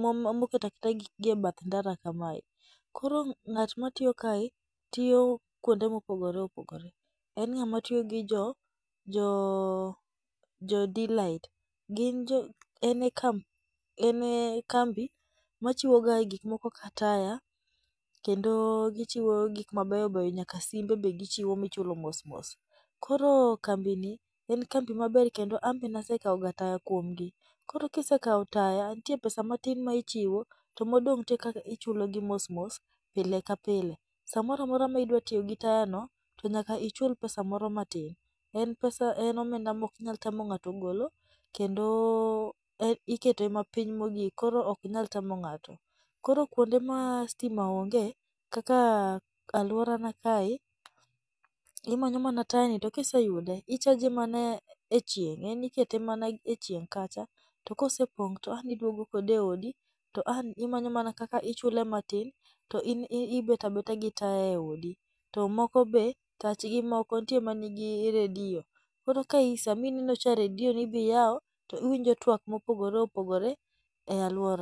mo mo moketa keta gik gi e bath ndara kamae. Koro ng'at ma tiyo kae, tiyo kuonde mopogore opogore, en ng'ama tiyo gi jo jo delight. Gin jo en e kamp en e kambi ma chiwo ga gik moko ka taya, kendo gichiwo gik mabeyo beyo nyaka simbe be gichiwo michulo mos mos. Koro kambini, en kambi maber kendo anbe nasekao ga taya kuomgi. Koro kisekao taya, nitie pesa matin ma ichiwo to modong' nitie kaka ichulogi mos mos pile ka pile. Samora mora ma idwa tiyo gi tayano, to nyaka ichul pesa moro matin. En pesa en omenda mok nyalo tamo ng'ato golo kendo en ikete mapiny mogik koro ok nyal tamo ng'ato. Koro kuonde ma stima onge kaka alworana kae, imanyo mana tayani to kiseyude i charge e chieng' en ikete mana e chieng' kacha, to ka osepong' to ang' iduogo kode e odi to an imanyo mana kaka ichule matin to in ibet abeta gi taya e odi. To moko be, tachgi nitie man gi radio, koro kaka i sama ineno cha, radio ni be iyao to iwinjo twak mopogore opogore e alwora.